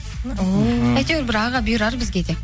о әйтеуір бір аға бұйырар бізге де